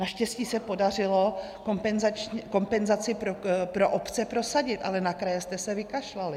Naštěstí se podařilo kompenzaci pro obce prosadit, ale na kraje jste se vykašlali.